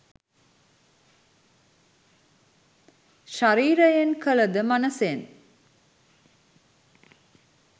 ශරීරයෙන් කළ ද මනසෙන්